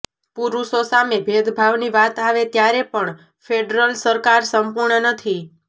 પુરુષો સામે ભેદભાવની વાત આવે ત્યારે પણ ફેડરલ સરકાર સંપૂર્ણ નથી